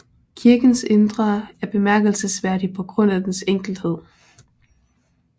Kirkens indre er bemærkelsesværdig på grund af dens enkelhed